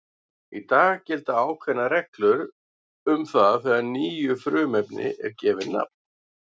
Í dag gilda ákveðnar reglur um það þegar nýju frumefni er gefið nafn.